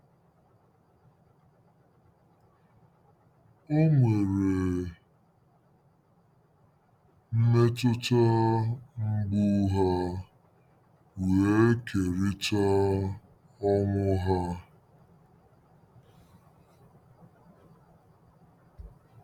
O nwere mmetụta mgbu ha wee kerịta ọnwụ ha.